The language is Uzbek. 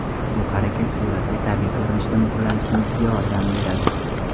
Bu harakat suratga tabiiy ko‘rinishda muhrlanishingizga yordam beradi.